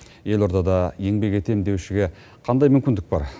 елордада еңбек етемін деушіге қандай мүмкіндік бар